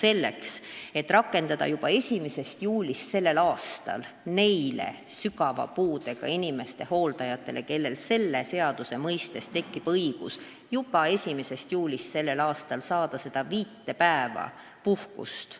Eesmärk on rakendada juba tänavu 1. juulist sügava puudega inimeste hooldajatele õigust saada seda viit päeva puhkust.